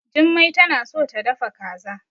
Jummai tana so ta dafa kaza.